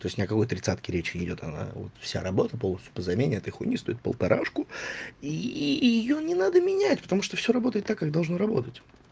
то есть ни о какой тридцатке речи не идёт она вот вся работа полностью по замене этой хуйни стоит полторашку и её не надо менять потому что все работает так как должен работать